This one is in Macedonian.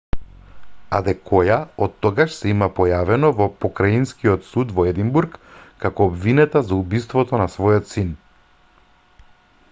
адекоја оттогаш се има појавено во покраинскиот суд во единбург како обвинета за убиството на својот син